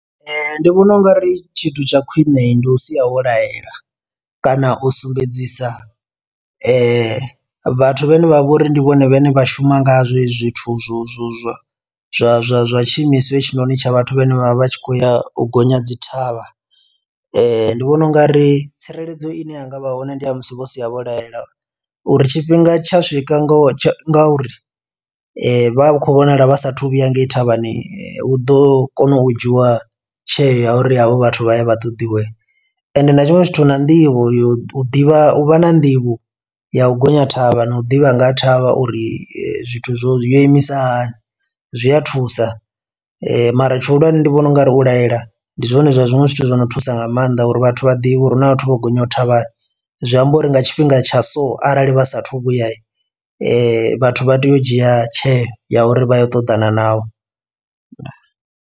Ndi vhona ungari tshithu tsha khwine ndi u sia wo laela kana u sumbedzisa vhathu vhane vha vha uri ndi vhone vhane vha shuma ngazwo hezwi zwithu zwo zwo zwo zwa zwa zwa tshiimiswa hetshinoni tsha vhathu vhane vhavha vhatshi khoya u gonya dzi thavha ndi vhona ungari tsireledzo ine yanga vha hone ndi ya musi vho sia vho laela uri tshifhinga tsha swika ngo tsha ngauri vha khou vhonala vha sa a thu vhuya ngei thavhani hu ḓo kona u dzhiwa tsheo ya uri havho vhathu vha ye vha ṱoḓiwe. Ende na tshiṅwe zwithu na nḓivho yo ḓivha u vha na nḓivho ya u gonya thavha na u ḓivha nga ha thavha uri zwithu zwo yo imisa hani zwi a thusa mara tshi hulwane ndi vhona ungari u laela ndi zwone zwa zwiṅwe zwithu zwo no thusa nga maanḓa uri vhathu vha ḓivhe uri hu na vhathu vho gonyaho ṱhavhana zwi amba uri nga tshifhinga tsha so arali vha sa a thu vhuya he vhathu vha tea u dzhia tsheo ya uri vha yo u ṱoḓana navho.